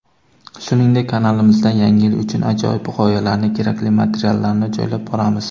Shuningdek kanalimizda yangi yil uchun ajoyib g‘oyalarni kerakli materiallarni joylab boramiz.